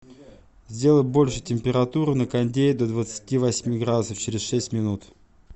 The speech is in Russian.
сделай больше температуру на кондее до двадцати восьми градусов через шесть минут